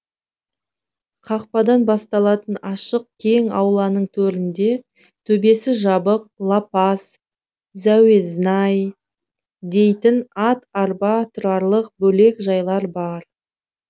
қақпадан басталатын ашық кең ауланың төрінде төбесі жабық лапас зәуезнай дейтін ат арба тұрарлық бөлек жайлар бар